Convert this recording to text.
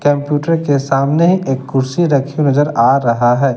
Computer के सामने एक कुर्सी रखी नजर आ रहा है।